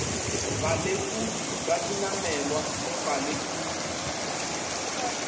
balekodi ba dinamelwa le balekodi